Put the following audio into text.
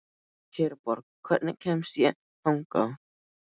Herborg, hvernig kemst ég þangað?